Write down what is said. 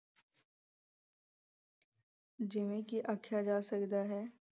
ਜਿਵੇਂ ਕਿ ਆਖਿਆਂ ਜਾ ਸਕਦਾ ਹੈ।